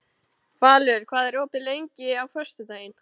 Valur, hvað er opið lengi á föstudaginn?